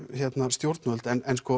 stjórnvöld